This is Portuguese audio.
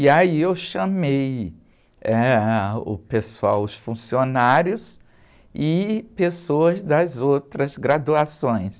E aí eu chamei eh, o pessoal, os funcionários e pessoas das outras graduações.